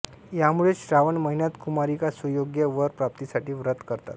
यामुळेच श्रावण महिन्यात कुमारिका सुयोग्य वर प्राप्तीसाठी व्रत करतात